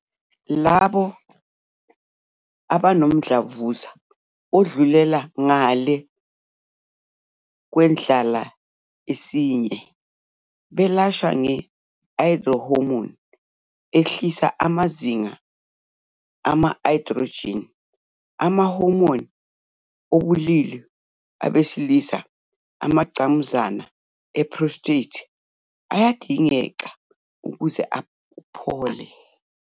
Labo abanomdlavuza odlulela ngalé kwendlala yesinye belashwa nge-I-hormone ehlisa amazinga ama-androgen, ama-hormone obulili abesilisa, amangqamuzana e-prostate ayadingeka ukuze uphile.